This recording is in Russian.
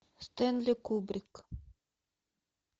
стэнли кубрик